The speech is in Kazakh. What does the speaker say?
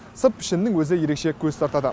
сырт пішінінің өзі ерекше көз тартады